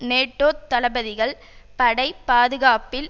நேட்டோத் தளபதிகள் படை பாதுகாப்பில்